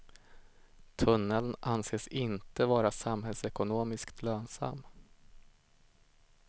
Tunneln anses inte vara samhällsekonomiskt lönsam.